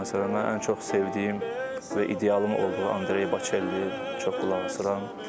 Məsələn, ən çox sevdiyim və idealım olduğu Andrey Bocelliyə çox qulaq asıram.